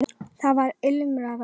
Þar var ilmur af öllu.